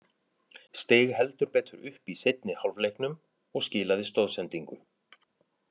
Steig heldur betur upp í seinni hálfleiknum og skilaði stoðsendingu.